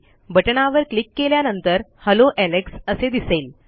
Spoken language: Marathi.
बटणावर क्लिक केल्यानंतर हेल्लो एलेक्स असे दिसेल